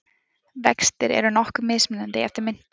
Vextir eru nokkuð mismunandi eftir myntum.